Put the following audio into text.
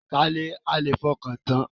Ta ni a lè fọkàntán?